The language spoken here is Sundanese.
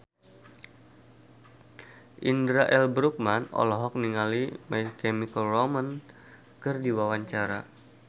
Indra L. Bruggman olohok ningali My Chemical Romance keur diwawancara